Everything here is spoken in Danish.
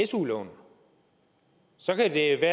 su lån så kan det